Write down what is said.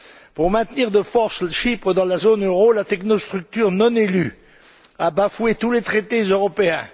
Pour maintenir de force Chypre dans la zone euro, la technostructure non élue a bafoué tous les traités européens.